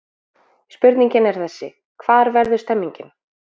Spurningin er þessi: Hvar verður stemningin?